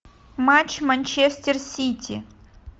матч манчестер сити